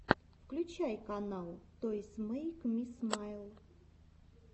включай канал тойс мэйк ми смайл